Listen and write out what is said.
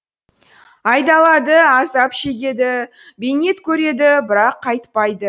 айдалады азап шегеді бейнет көреді бірақ қайтпайды